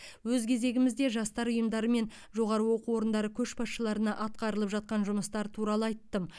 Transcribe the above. өз кезегімізде жастар ұйымдары мен жоғары оқу орындары көшбасшыларына атқарылып жатқан жұмыстар туралы айттым